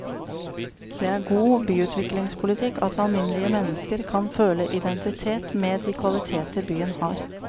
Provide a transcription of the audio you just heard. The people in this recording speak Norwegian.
Det er god byutviklingspolitikk at alminnelige mennesker kan føle identitet med de kvaliteter byen har.